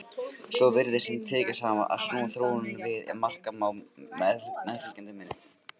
Svo virðist sem tekist hafi að snúa þróuninni við ef marka má meðfylgjandi mynd.